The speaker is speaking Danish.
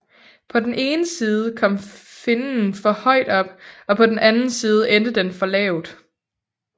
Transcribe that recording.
På den ene side kom finnen for højt op og på den anden side endte den for lavt